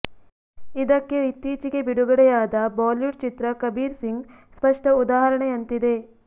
ಇದಕ್ಕೆ ಇತ್ತೀಚಿಗೆ ಬಿಡುಗಡೆಯಾದ ಬಾಲಿವುಡ್ ಚಿತ್ರ ಕಬೀರ್ ಸಿಂಗ್ ಸ್ಪಷ್ಟ ಉದಾಹರಣೆಯಂತಿದೆ